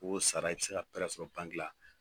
O sara i bi se ka sɔrɔ la